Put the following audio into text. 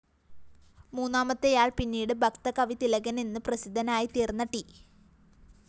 മൂന്നാമത്തെയാൾ പിന്നീട് ഭക്തകവിതിലകനെന്ന് പ്രസിദ്ധനായിത്തീർന്ന ട്‌